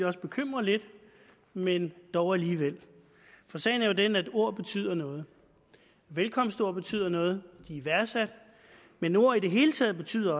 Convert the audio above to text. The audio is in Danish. også bekymre lidt men dog alligevel for sagen er jo den at ord betyder noget velkomstord betyder noget de er værdsatte men ord i det hele taget betyder